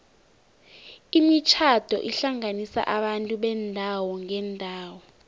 imitjhado ihlanganisa abantu beendawo ngeendawo